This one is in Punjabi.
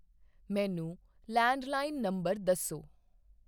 ਮੈਨੂੰ ਲੈਂਡਲਾਈਨ ਨੰਬਰ ਦੱਸੋ।